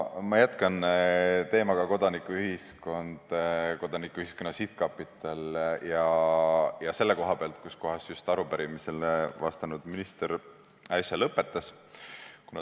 Ma jätkan kodanikuühiskonna ja Kodanikuühiskonna Sihtkapitali teemal ning jätkan selle koha pealt, kus arupärimisele vastanud minister äsja lõpetas.